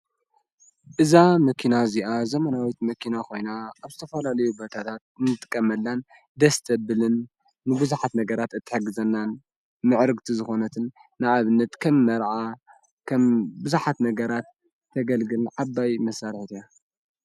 እዛ ምኪና እዚኣ ዘመናዊት መኪና ኾይና ኣብስተፈሎሌዩ በታታት ንጥቀመላን ደስተብልን ንብዙኃት ነገራት እትሐግዘናን ምዕርግቲ ዝኾነትን ንኣብነት ከም መርዓ ኸም ብዙኃት ነገራት ተገልግልን ዓባይ መሣርሑት እያ።